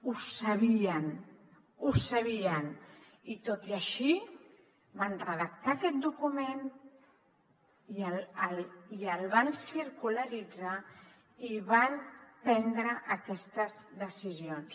ho sabien ho sabien i tot i així van redactar aquest document i el van circularitzar i van prendre aquestes decisions